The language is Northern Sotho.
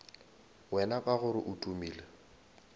wena ka gore o tumile